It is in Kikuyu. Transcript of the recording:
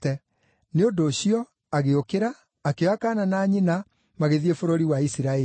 Nĩ ũndũ ũcio, agĩũkĩra, akĩoya kaana na nyina, magĩthiĩ bũrũri wa Isiraeli.